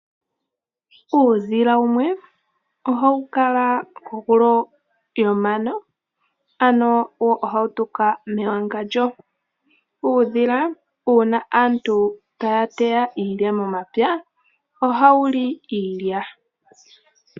Uudhila wumwe ohawu kala kondungu yomano nohawu tuka mewangandjo. Uuna aantu taya teya iilya momapya, uudhila ohawu li iilya.